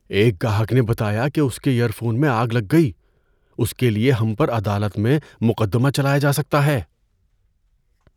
ایک گاہک نے بتایا کہ اس کے ایئر فون میں آگ لگ گئی۔ اس کے لیے ہم پر عدالت میں مقدمہ چلایا جا سکتا ہے۔